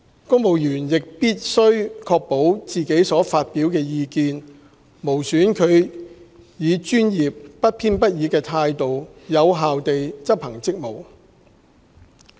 公務員亦必須確保自己所發表的意見，無損他們以專業、不偏不倚的態度有效地執行職務。